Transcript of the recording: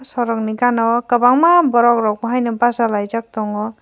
borok ni gaana o kwbangma borok rok haino basalaijak tongo.